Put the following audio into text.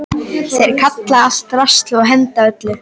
Þeir kalla allt drasl og henda öllu.